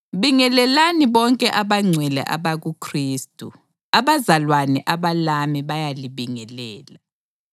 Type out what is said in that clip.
Bingelelani bonke abangcwele abakuKhristu. Abazalwane abalami bayalibingelela.